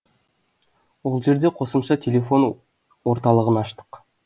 ол жерде қосымша телефон орталығын аштық